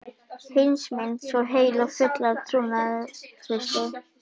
Heimsmynd svo heil og full af trúnaðartrausti.